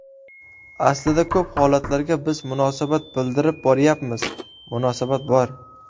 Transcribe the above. Aslida ko‘p holatlarga biz munosabat bildirib boryapmiz, munosabat bor.